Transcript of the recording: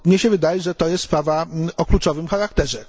Bo mnie się wydaje, że to jest sprawa o kluczowym charakterze.